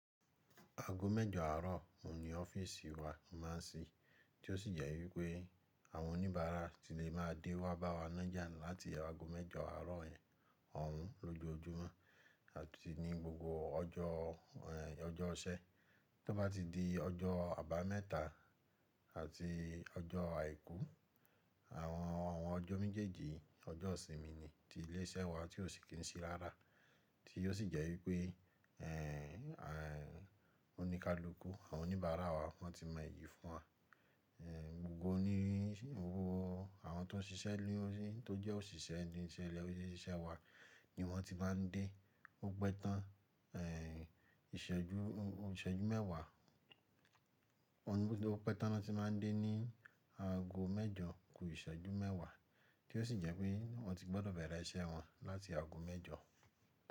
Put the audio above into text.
Aago mẹ́jọ àárọ̀ oun ní ọ́fíìsì wa o máà ń sí, tí ó sì jẹ́ wípé àwọn oníbàárà ti lè máa dé wá bá wa nájà láti aago mẹ́jọ àárọ̀ òun lọ́jọojúmọ́ àti ní gbogbo ọjọ́, ọjọ́ isẹ́. Tó bá ti di ọjọ́ Àbámẹ́ta àti ọjọ́ Àìkú, àwọn ọjọ́ méjèèjì ọjọ́ ìsinmi ni ti ilé iṣẹ́ wa tí ò sí kín sí rára, tí ó sì jẹ́ wípé oníkálukú àwọn oníbàárà wa won ti mọ èyí fún wa. Gbogbo oní, gbogbo àwọn tó ń ṣiṣẹ́ lórí to jẹ́ òṣìṣẹ́ ni ilé ise wa ni wọ́n ti máa ń dé. Ó pẹ́ tán, ìṣẹ́jú, ìṣẹ́jú mẹ́wàá. Ó ní bó tí ó pẹ́ tán lọ́ti máa ń dé ní aago mẹ́jọ kú ìṣẹ́jú mẹ́wàá tí ó sì jẹ́ pé wọ́n ti gbọ́dọ̀ bẹ̀rẹ̀ iṣẹ́ wọn láti aago mẹ́jọ.